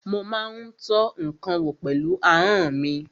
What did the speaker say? Mo má ń tọ́ ǹkan wò pẹ̀lú ahọ́n mi.